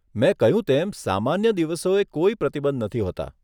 મે કહ્યું તેમ, સામાન્ય દિવસોએ કોઈ પ્રતિબંધ નથી હોતાં.